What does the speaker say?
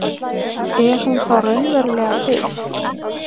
Er hún þá raunverulega til?